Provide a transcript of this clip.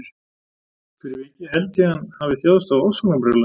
Fyrir vikið held ég að hann hafi þjáðst af ofsóknarbrjálæði.